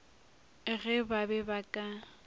ge ba be ba ka